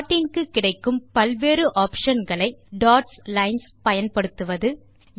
3ப்ளாட்டிங் க்கு கிடைக்கும் பல் வேறு optionகளை dotsலைன்ஸ் - பயன்படுத்துவது